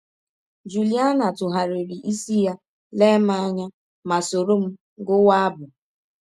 Jụliana tụgharịrị isi ya, lee m anya ma sọrọ m gụwa abụ!